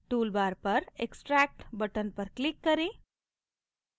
tool bar पर extract button पर click करें